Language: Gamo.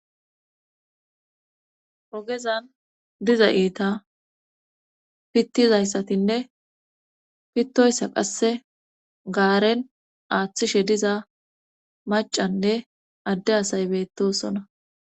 ogezan diza iita pittizayssatinne pittoyssa qasse gaaren aaththishe diza macanne adde asay beettosona